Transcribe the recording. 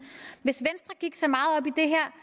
hvis i det her